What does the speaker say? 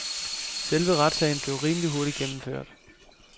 Selve retssagen blev rimelig hurtigt gennemført.